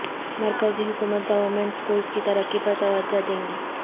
مرکزی حکومت government schools کی ترقی پر توجہ دے گی